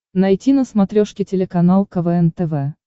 найти на смотрешке телеканал квн тв